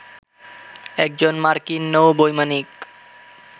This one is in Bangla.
একজন মার্কিন নৌ বৈমানিক